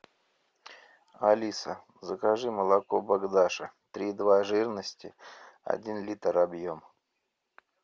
алиса закажи молоко богдаша три два жирности один литр объем